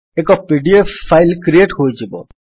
ଏକ PDF file create ହୋଇଯିବ